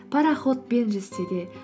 пароходпен жүзсе де